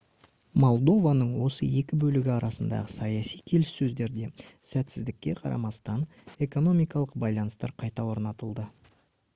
молдованың осы екі бөлігі арасындағы саяси келіссөздерде сәтсіздікке қарамастан экономикалық байланыстар қайта орнатылды